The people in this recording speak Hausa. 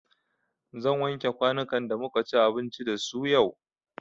Zan wanke kwanukan da muka ci abinci da su yau.